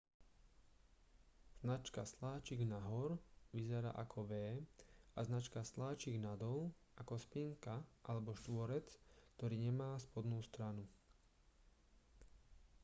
značka sláčik nahor vyzerá ako v a značka sláčik nadol ako spinka alebo štvorec ktorý nemá spodnú stranu